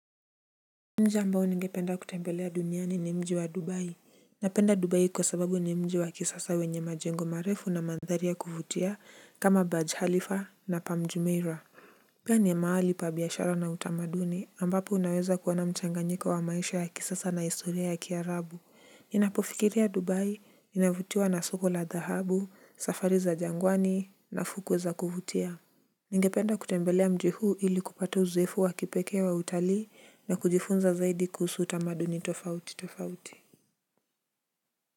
Mji ambao ninge penda kutembelea duniani ni mji wa dubai. Napenda dubai kwa sababu ni mji wa kisasa wenye majengo marefu na mandhari kuvutia kama badge halifa na pamjumeira. Pia ni mahali pa biashara na utamaduni ambapo unaweza kuona mchanganyiko wa maisha ya kisasa na historia ya kiarabu. Ninapofikiria dubai inavutiwa na soko la dhahabu safari za jangwani na fukwe za kuvutia. Ningependa kutembelea mji huu ili kupata uzoefu wa kipeke wa utali na kujifunza zaidi kuhusu utamaduni tofauti tofauti.